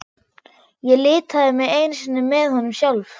Ég litaði mig einu sinni með honum sjálf.